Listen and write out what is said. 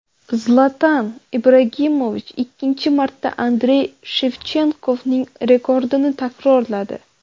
Zlatan Ibragimovich ikkinchi marta Andrey Shevchenkoning rekordini takrorladi.